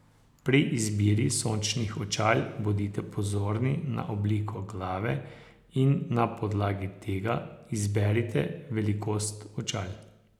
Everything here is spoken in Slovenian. Pri izbiri sončnih očal bodite pozorni na obliko glave in na podlagi tega izberite velikost očal.